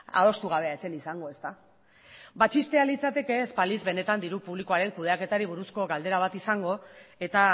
adostu gabea ez zen izango ezta ba txistea litzateke ez balitz benetan diru publikoaren kudeaketari buruzko galdera bat izango eta